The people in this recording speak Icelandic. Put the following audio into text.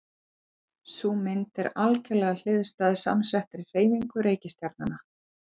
Sú mynd er algerlega hliðstæð samsettri hreyfingu reikistjarnanna.